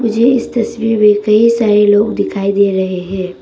मुझे इस तस्वीर में कई सारे लोग दिखाई दे रहे हैं।